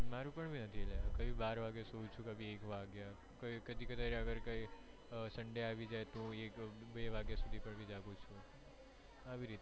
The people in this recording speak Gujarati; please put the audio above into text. મારે પણ ક્યારે બાર વાગે સુઈ જાઉં છુ કધી એક વાગે કધી કધી sunday આવી જાય તો બે વાગે સુધી પણ જાગું છુ આવી રીતે થાય